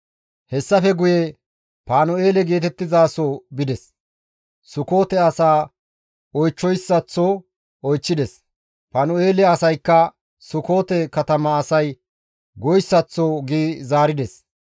Hessafe guye Panu7eele geetettizaso bides; Sukoote asaa oychchoyssaththo oychchides; Panu7eele asaykka Sukoote katama asay goyssaththoka gi zaarides.